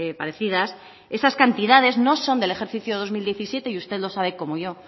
parecidas esas cantidades no son del ejercicio dos mil diecisiete y usted lo sabe como yo